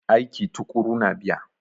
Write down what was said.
Aiki tuƙuru na biya.